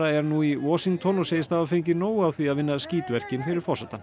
er nú í Washington og segist hafa fengið nóg af því að vinna skítverkin fyrir forsetann